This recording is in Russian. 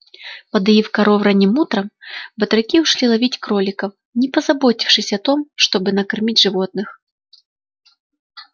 подоив коров ранним утром батраки ушли ловить кроликов не позаботившись о том чтобы накормить животных